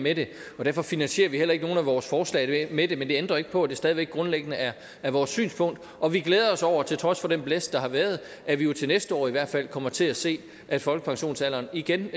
med det og derfor finansierer vi heller ikke nogen af vores forslag med det men det ændrer jo ikke på at det stadig væk grundlæggende er er vores synspunkt og vi glæder os over til trods for den blæst der har været at vi jo til næste år i hvert fald kommer til at se at folkepensionsalderen igen